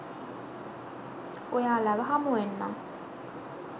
ඔයාලව හමුවෙන්නම්